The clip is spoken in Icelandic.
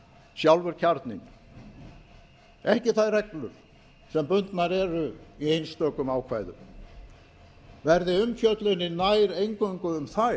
sjálfur kjarninn ekki þær reglur sem bundnar eru í einstökum ákvæðum verði umfjöllunin nær eingöngu um